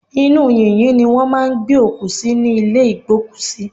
Inú yìnyín ni wọ́n máà ń gbé òkú sí ní ìlé ìgbókùsí.